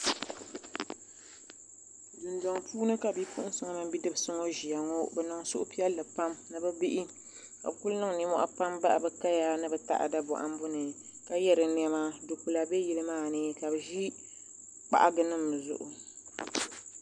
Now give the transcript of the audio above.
Dundoŋ puuni ka bidibsi mini bipuɣinsi ŋɔ ʒia bɛ niŋ suhu piɛlli pam bihi ka kuli niŋ ninmohi ni bɛ taɣada bohambu ni ka ye di niɛma dukpila be yili maani ka bɛ ʒi kpahagi nima zuɣu.